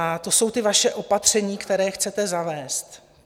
A to jsou ta vaše opatření, která chcete zavést.